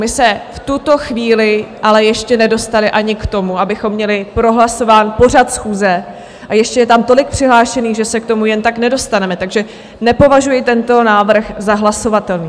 My se v tuto chvíli ale ještě nedostali ani k tomu, abychom měli prohlasován pořad schůze, a ještě je tam tolik přihlášených, že se k tomu jen tak nedostaneme, takže nepovažuji tento návrh za hlasovatelný.